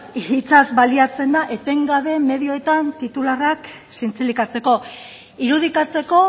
hitzaz baliatzen da etengabe medioetan titularrak zintzilikatzeko irudikatzeko